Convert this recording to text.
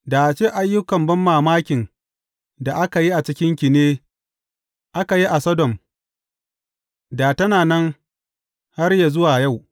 Da a ce ayyukan banmamakin da aka yi a cikinki ne a aka yi a Sodom, da tana nan har yă zuwa yau.